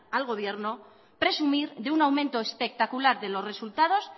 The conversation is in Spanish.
al gobierno presumir de un aumento espectacular de los resultados